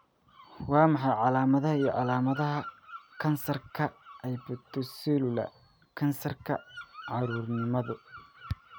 Waa maxay calaamadaha iyo calaamadaha kansarka Hepatocellular kansarka, carruurnimada?